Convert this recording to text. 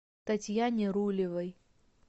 татьяне рулевой